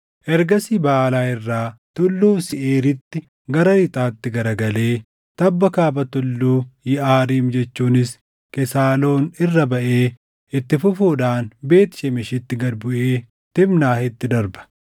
Ergasii Baʼaalaa irraa Tulluu Seeʼiiriitti gara lixaatti garagalee tabba kaaba Tulluu Yiʼaariim jechuunis Kesaaloon irra baʼee itti fufuudhaan Beet Shemeshitti gad buʼee Tiimnaahitti darba.